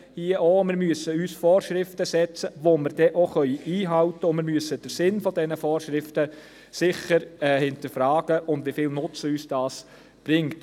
Auch hier: Wir müssen uns Vorschriften geben, die wir dann auch einhalten können, und wir müssen den Sinn dieser Vorschriften und wie viel Nutzen uns diese bringen sicher hinterfragen.